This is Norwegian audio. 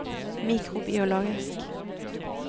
mikrobiologisk